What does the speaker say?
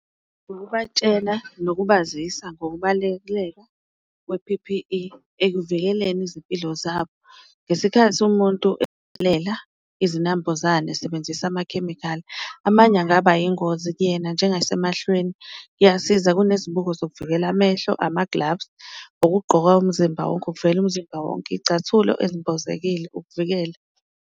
Ukubatshena nokubazisa ngokubaluleka kwe-P_P_E ekuvikeleni izimpilo zabo, ngesikhathi umuntu izinambuzane esebenzisa amakhemikhali amanye angaba yingozi kuyena njengase mehlweni. Kuyasiza kunezibuko zokuvikela amehlo, ama-gloves, okugqoka umzimba wonke ukuvikela umzimba wonke, iyicathulo ezimbozekile ukuvikela.